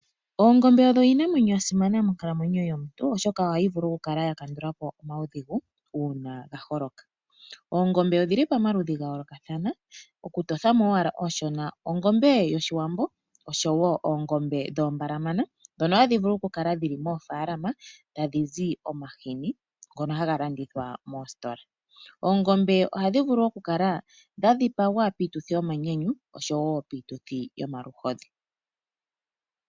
Oongombe odho iinamwenyo yasimana monkalamwenyo yomuntu oshoka ohayi vulu okukala ya kandulapo omawudhigu uuna gaholoka. Oongombe odhili pamaludhi gayoolokathana, okutothamo owala ooshona: ongombe yOshiwambo osho wo oongombe dhoombalamana dhono hadhi vulu kukala dhili moofaalama tadhizi omahini ngono haga landithwa moositola. Oongombe ohadhi vulu okukala dhadhipagwa piituthi yomanyanyu oshowo yomaluhodhi.